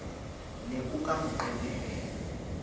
ne o ka mo qenehela